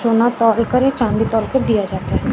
सोना तौल कर ये चांदी तौल के दिया जाता है।